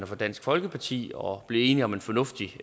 fra dansk folkeparti og blive enige om en fornuftig